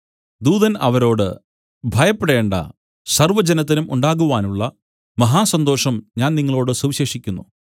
ദൂതൻ അവരോട് ഭയപ്പെടേണ്ടാ സർവ്വജനത്തിനും ഉണ്ടാകുവാനുള്ള മഹാസന്തോഷം ഞാൻ നിങ്ങളോടു സുവിശേഷിക്കുന്നു